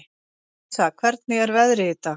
Æsa, hvernig er veðrið í dag?